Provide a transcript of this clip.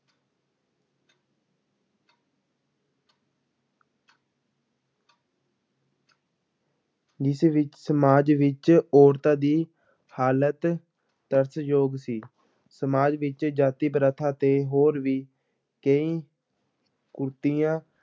ਜਿਸ ਵਿੱਚ ਸਮਾਜ ਵਿੱਚ ਔਰਤਾਂ ਦੀ ਹਾਲਤ ਤਰਸਯੋਗ ਸੀ, ਸਮਾਜ ਵਿੱਚ ਜਾਤੀ ਪ੍ਰਥਾ ਅਤੇ ਹੋਰ ਵੀ ਕਈ ਕੁਰੀਤੀਆਂ